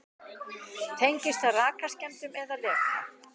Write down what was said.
Tengist það rakaskemmdum eða leka?